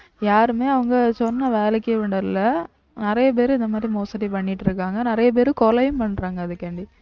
யாருமே அவங்க சொன்ன வேலைக்கும் விடல நிறைய பேரு இந்த மாதிரி மோசடி பண்ணிட்டு இருக்காங்க நிறைய பேரு கொலையும் பண்றாங்க அதுக்காண்டி